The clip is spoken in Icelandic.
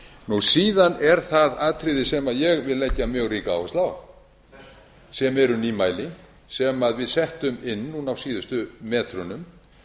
reglur síðan er það atriði sem ég vil leggja mjög ríka áherslu á sem eru nýmæli sem við settum inn núna á síðustu metrunum